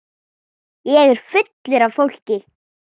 Ég er fullur af fólki.